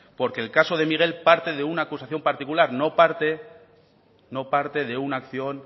porque el caso de miguel parte de una acusación particular no parte no parte de una acción